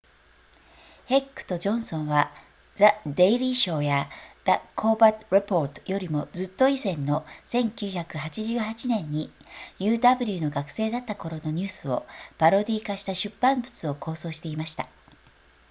ヘックとジョンソンは the daily show や the colbert report よりもずっと以前の1988年に uw の学生だった頃のニュースをパロディー化した出版物を構想していました